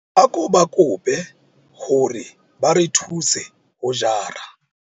Ako ba kope hore ba re thuse ho jara.